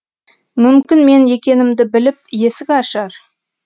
мүмкін мен екенімді біліп есік ашар